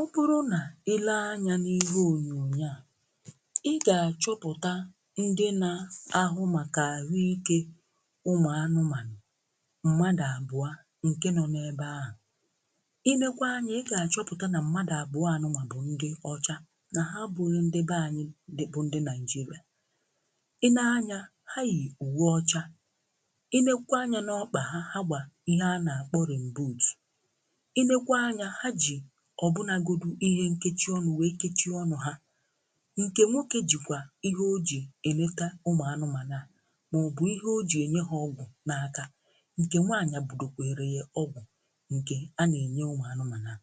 Obụrụ nà ị lee anyȧ n’ihe ònyònyo à ị gà-achọpụ̀ta ndị na-ahụ màkà àhụike ụmụ̀ anụmanụ̀ mmadụ̀ abụọ̀ ǹkẹ nọ n’ebe ahụ̀, i nekwa anyị ị gà-achọpụ̀ta nà mmadụ̀ àbụọ a bụ ndị ọcha nà ha abụghi ndị be anyị bụ̀ ndị nàịjirịà. ị nee anyȧ ha yì uwe ọcha, i nekwa anya n’ọkpà ha ha gbà ihe a nà-àkpọ rị̀mboot, ị nekwa anyȧ ha ji ọbụnagodu ihe nkechi ọnụ̀ wee kechie ọnụ̀ ha, nke nwoke jikwà ihe o ji eleta ụmụ anụmanụ̀ maọ̀bụ̀ ihe o ji enye ha ọgwụ̀ n’akà, nke nwanyi budokwere ọgwụ̀ nke a na-enye ụmụ anụmanụ̀,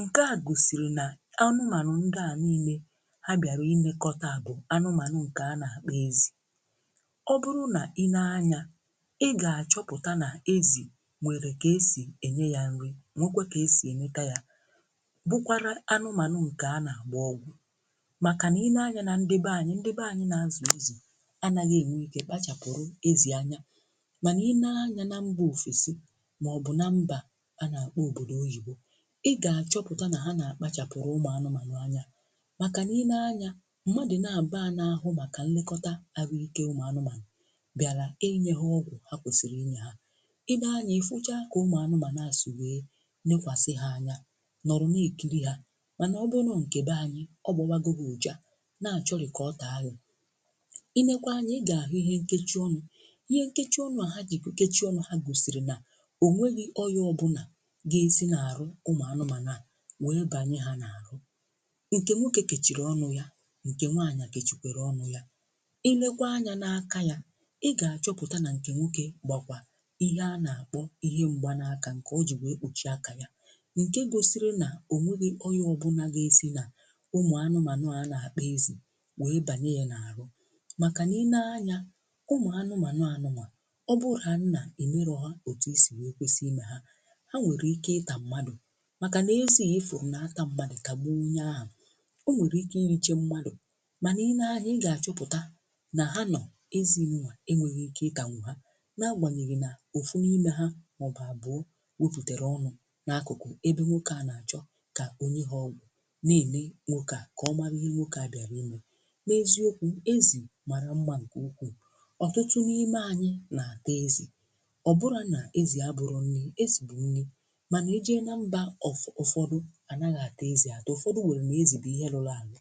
nke à gosiri na anụmanụ̀ ndị à niile ha bịarà inekọtà bụ̀ anụmanụ̀ nke anà akpọ̀ ezì. ọbụrụ̀ na i nee anyà ị ga-achọpụtà nà ezì nwere ka esì enye yà nrì nwekwa ka esi eleta ya, bụkwara anụmanụ̀ nke anà agba ọgwụ̀ makà na i nee anya na ndị be anyị ndị be anyị̀ na-azu ezì anàghị̀ eṅwe ike kpachapụrụ ezì anya, manà i nee anya na mgbe ofesị̀ maọ̀bụ̀ na mbà a na-akpọ òbodò oyibo, ị ga-achọpụtà na ha na-akpachapụrụ ụmụ̀ anụmanụ̀ anya makà na i nee anya mmadụ̀ na-abuo a n’ahụ makà nlekọtà ahụike ụmụ̀ anụmanụ̀ bịàlà enye ha ọgwụ̀ ha kwesiri inyė ha, i nee anya i hụchà ka ụmụ̀ anụmanụ̀ si wee nekwasị̀ ha anya noro n'ekirir ha, manà ọ bụrụ nkebe anyị ọgbọwago gi ụ̀ja na-achọri ka ọtà gi. i lekwa anyị̀ ị gà-ahụ̀ ihe nkechi ọnụ̀, ihe nkechi ọnụ̀ à ha jì kechie ọnụ̀ ha gosìrì nà onweghi̇ oya ọbụlà gà-esi na-arụ ụmụ̀ anụ̀manụ̀ wee banye ha na-arụ, nke nwoke kechiri ọnụ̀ ya nke nwaanyị̀ kechikwere ọnụ̀ ya i lekwa anya n’aka yà ị gà-achọpụtà na nke nwoke gbakwà ihe a na-akpọ̀ ihe mgbe n’akà nke o jì wee kpuchi akà ya, nke gosiri na o nweghì ọyà ọbụlà ga-esi nà umụ̀ anụmanụ̀ a na-akpo ezì wee banye ya na-arụ makà na ilee anyà ụmụ̀ anụmanụ̀ obula, ọ bụrụ̀ na emerò ha etù isi wee kwesiri imè ha ha nwere ike ịtà mmadụ̀ makà na-ezì a ihuru n’atà mmadụ̀ tagbuo onye ahụ̀ o nwere ike inyiche mmadụ̀ ma ilee anyị̀ ga-achọpụtà na ha nọ̀ ma ezi ndia enweghi ike ita ha na-agbanyeghì na ofu n’ime ha maọ̀bụ̀ abụọ̀ weputere ọnụ̀ n’akụkụ̀ ebe nwoke à nachọ̀ ka ọnye ha ogwu n'ele nwoke a ka omara ihe nwoke à bịarị imè, n’ezi okwu ezì mara mma nke ukwù ọtụtụ n’ime anyị na-ata ezì ọ bụrụ à na-ezì abụrụ nri, ezì bụ nri̇ ma na-eje na mbà ụfọdụ ànàghià àta ezì atọa ụfọdụ wère na-ezì bụ ihe rụrụ